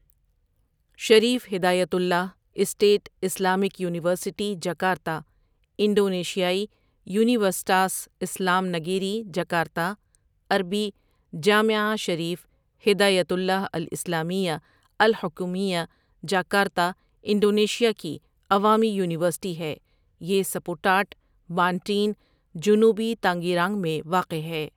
شریف Hidayatullah State Islamic University Jakarta انڈونیشیائی یونیورسٹاس اسلام نگیری جکارتا، عربی جامعة شريف هداية الله الإسلامية الحكومية جاكرتا انڈونیشیا کی عوامی یونیورسٹی ہے یہ سپوٹاٹ ، بانٹین ، جنوبی تانگیرانگ میں واقع ہے۔